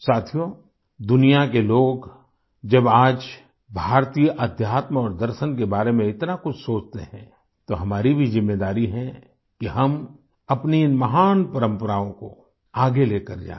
साथियो दुनिया के लोग जब आज भारतीय अध्यात्म और दर्शन के बारे में इतना कुछ सोचते हैं तो हमारी भी ज़िम्मेदारी है कि हम अपनी इन महान परम्पराओं को आगे लेकर जाएँ